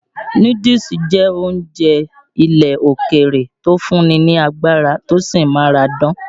Núdúùsù jẹ́ oúnjẹ ilẹ́ òkèrè tò ń fún ni lágbárá, tí ó sì ń máradán.